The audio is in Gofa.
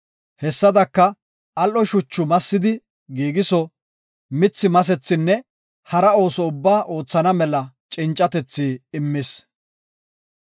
Hessadaka, al7o shuchu massidi giigiso, mithi masethinne hara ooso ubbaa oothana mela cincatethi immis.